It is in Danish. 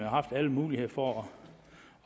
haft alle muligheder for